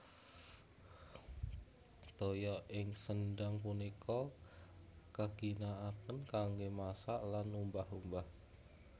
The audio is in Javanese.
Toya ing sendhang punika kaginakaken kanggé masak lan umbah umbah